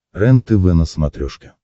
рентв на смотрешке